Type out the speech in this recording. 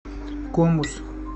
комус